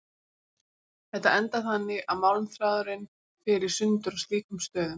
Þetta endar þannig að málmþráðurinn fer í sundur á slíkum stöðum.